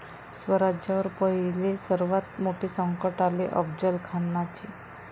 स्वराज्यावर पहिले सर्वात मोठे संकट आले अफजलखानाचे